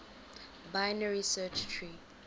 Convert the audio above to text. binary search tree